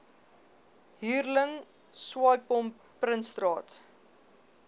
hurling swaaipomp prinsstraat